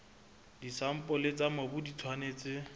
disampole tsa mobu di tshwanetse